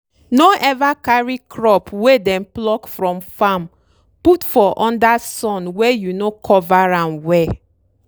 no ever carry crop wey dem pluck from farm put for under sun wey you no cover am well.